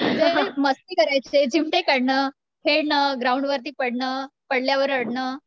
ते मस्ती करायचे, चिमटे काढणं, खेळणं, ग्राउंड वरती पडणं, पडल्यावर रडणं